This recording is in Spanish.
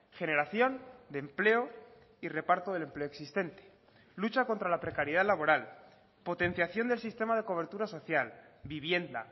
generación de empleo y reparto del empleo existente lucha contra la precariedad laboral potenciación del sistema de cobertura social vivienda